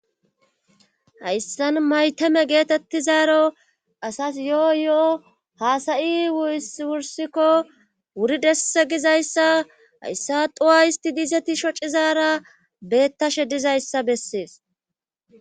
Hayssan mayteme geetettizaaro asas yo7o yo7o haasayi uis wursikko wuri desse gizayssa hayssa duwa histi diizeti shocizaara bettashe dizayssa bessees.